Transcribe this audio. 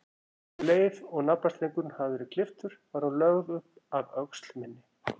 Um leið og naflastrengurinn hafði verið klipptur var hún lögð upp að öxl minni.